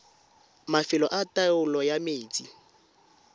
mafelo a taolo ya metsi